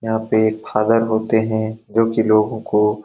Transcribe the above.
यहाँ पे फादर होते है जो की लोगों को --